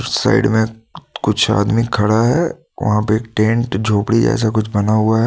Side में क क कुछ आदमी खड़ा है वहां पे टेंट झोपड़ी जैसा कुछ बना हुआ है।